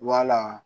Wala